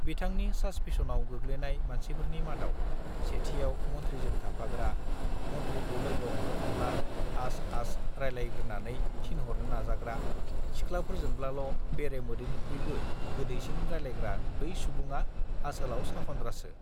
बिथांनि सासपिसनआव गोग्लैनाय मानसिफोरनि मादाव सेथियाव मन्थ्रीजों थाफाग्रा मन्थ्रीखौ लोगो हमनो थांब्ला आस आस रायलायग्रोनानै थिनहरनो नाजाग्रा सिख्लाफोरजोंब्लालो बेरे मोदैनिख्रुइबो गोदैसिन रायलायग्रा बै सुबुङा आसोलाव सखन्द्रासो